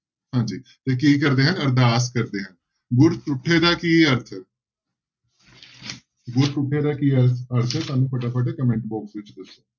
ਹਾਂਜੀ ਤੇ ਕੀ ਕਰਦੇ ਹਨ ਅਰਦਾਸ ਕਰਦੇ ਆ ਗੁਰ ਤੁੱਠੇ ਦਾ ਕੀ ਅਰਥ ਹੈ ਗੁਰ ਤੁੱਠੇ ਦਾ ਕੀ ਅਰ ਅਰਥ ਹੈ ਸਾਨੂੰ ਫਟਾਫਟ comment box ਵਿੱਚ ਦੱਸੋ।